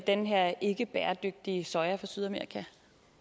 den her ikkebæredygtige soja fra sydamerika